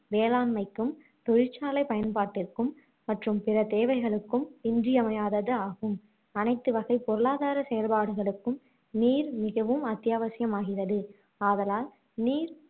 வேளாண்மைக்கும் தொழிற்சாலை பயன்பாட்டிற்கும் மற்றும் பிற தேவைகளுக்கும் இன்றியமையாததாகும் அனைத்து வகை பொருளாதார செயல்பாடுகளுக்கும் நீர் மிகவும் அத்தியாவசியம் ஆகிறது ஆதலால் நீர்